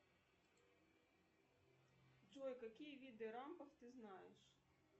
джой какие виды рампов ты знаешь